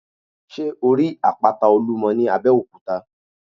Sé o rí àpáta Olúmo ní Abéòkúta?